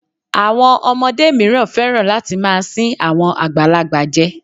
Àwọn ọmọdé míràn féràn láti máa sín àwọn àgbàlagbà je.